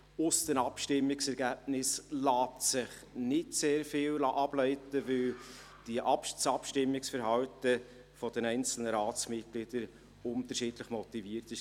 Aus den Abstimmungsergebnissen lässt sich nicht sehr viel ableiten, weil das Abstimmungsverhalten der einzelnen Ratsmitglieder unterschiedlich motiviert war.